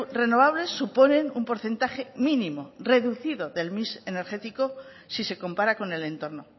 renovables suponen un porcentaje mínimo reducido del mix energético si se compara con el entorno